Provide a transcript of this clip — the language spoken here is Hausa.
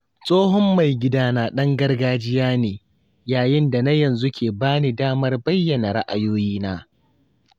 Tsohon mai gidana ɗan gargajiya ne, yayin da na yanzu ke ba ni damar bayyana ra’ayoyina.